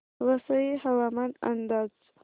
वसई हवामान अंदाज